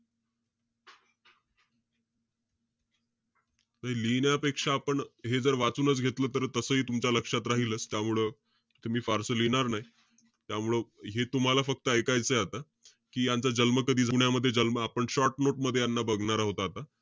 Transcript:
त हे लिहिण्यापेक्षा आपण हे जर वाचूनच घेतलं तर तसंही तुमच्या लक्षात राहीलच. त्यामुळं, ते मी फारसं लिहिणार नाई. त्यामुळं हे तुम्हाला फक्त ऐकायचंय आता. कि यांचा जन्म कधी, पुण्यामध्ये जन्म आपण short note मध्ये यांना बघणार आहोत आता.